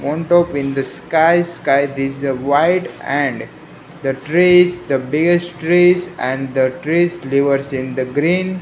on top in the skies sky this a white and the trees the biggest trees and the trees leave in the green.